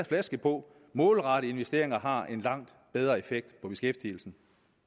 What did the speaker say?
flaske på målrettede investeringer har en langt bedre effekt på beskæftigelsen